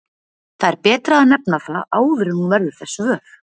Það er betra að nefna það áður en hún verður þess vör.